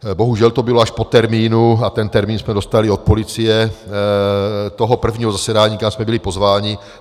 Bohužel to bylo až po termínu - a ten termín jsme dostali od policie - toho prvního zasedání, kam jsme byli pozváni.